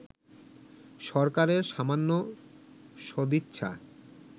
সরকারের সামান্য সদিচ্ছা